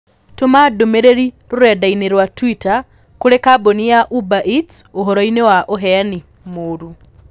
Tũma ndũmĩrĩri rũrenda-inī rũa tũita kũrĩ kambuni ya uber eats ũhoroinĩ wa ũheani mũũru